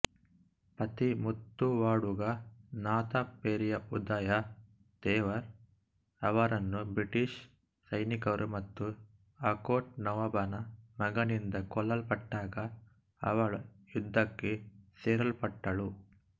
ಪತಿ ಮುತ್ತುವಾಡುಗನಾಥಪೆರಿಯಾಉದಯ ಥೇವರ್ ಅವರನ್ನು ಬ್ರಿಟಿಷ್ ಸೈನಿಕರು ಮತ್ತು ಆರ್ಕೋಟ್ ನವಾಬನ ಮಗನಿಂದ ಕೊಲ್ಲಲ್ಪಟ್ಟಾಗ ಅವಳು ಯುದ್ಧಕ್ಕೆ ಸೆಳೆಯಲ್ಪಟ್ಟಳು